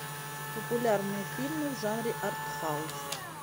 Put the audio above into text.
популярные фильмы в жанре артхаус